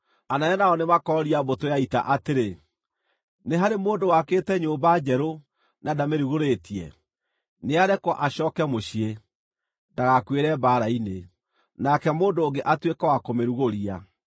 Anene nao nĩmakooria mbũtũ ya ita atĩrĩ: “Nĩ harĩ mũndũ wakĩte nyũmba njerũ na ndamĩrugũrĩtie? Nĩarekwo acooke mũciĩ, ndagakuĩre mbaara-inĩ, nake mũndũ ũngĩ atuĩke wa kũmĩrugũria.